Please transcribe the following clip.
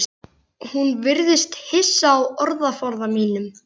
Hún virðist hissa á orðaforða mínum.